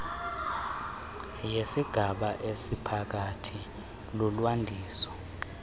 yesigaba esiphakathi lulwandiso